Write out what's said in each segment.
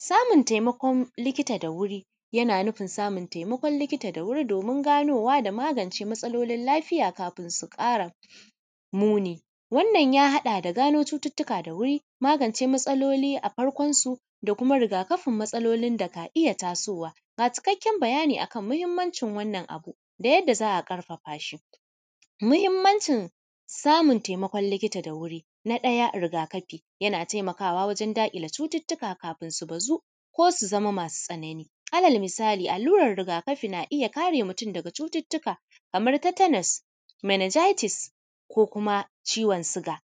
Samun taimakon likita da wuri, yana nufin samun taimakon likita da wuri, domin ganowa da magance matsalolin lafiya kafin su ƙara muni. Wannan ya haɗa da gano cututtuka da wuri, magance matsaloli a farkonsu da kuma riga kafin matsalolin da ka iya tasowa. Ga cikakken bayani a kan muhimmancin wannan abu da yadda za a ƙarfafa shi: muhimmancin samun taimakon likita da wuri: na ɗaya riga-kafi, yana taimakawa wajen daƙile cututtuka kafin su bazu ko su zama masu tsanani. Alal misali, allurer riga-kafi na iya kare mutum daga cututtuka, kamar tetanus, meningitis ko uma ciwon suga.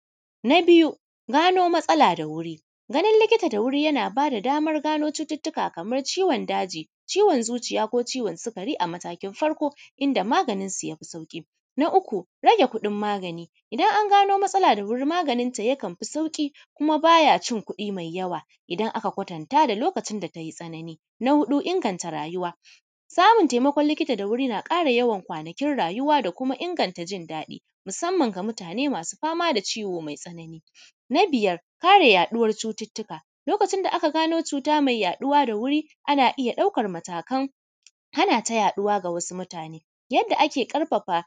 Na biyu, gano matsala da wuri, ganin likita da wuri yana ba da damar gano cututtuka kamar ciwon daji, ciwon zuciya ko ciwon sikari a matakin farko, inda maganinsu ya fi sauƙi. Na uku, rage kuɗin magani. Idan an gano matsala da wuri, maganinta yakan fi sauƙi kuma ba ya cin kuɗi mai yawa idan aka kwatanta da lokacin da ta yi tsanani. Na huɗu, inganta rayuwa. Samun taimakon likita da wuri na ƙara yawan wanakin rayuwa da kuma inganta jin daɗi, musamman masu fama da ciwo mai tsanani. Na biyar, kare yaɗuwar cututtuka. Lokacin da aka gano cuta mai yaɗuwa da wuri, ana iya ɗaukar matakan hana ta yaɗuwa ga wasu mutane. Yadda ake ƙarfafa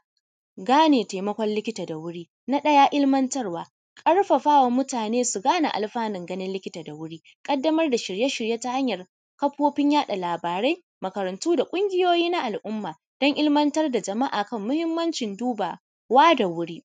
gane taimakon likita da wuri: na ɗaya, ilimantarwa, ƙarfafa wa mutane su gane alfanun ganin likita da wuri, ƙaddamar da shirye shirye ta hanyar kafofin yaɗa labarai, makarantu da ƙungiyoyi na al’umma don ilimintar da al’umma kan muhimmancin dubawa da wuri.